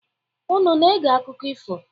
Unu na-ege akụkọ ifo?